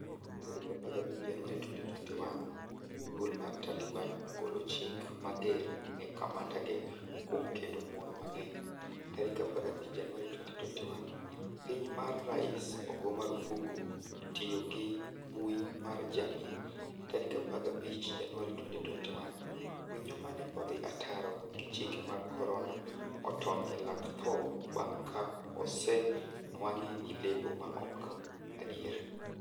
15 Januari 2021 Duol mar Taliban ogolo chik mager ne kamanda ge kuom kendo mon mang'eny 15 Januari 2021 Piny ma rais ogo marufuku tiyo gi mbui mar jamii 15 Januari 2021 Winyo mane odhi ataro gi chike mag korona otony e lak tho bang' ka osenwang'e gi lebo maok adier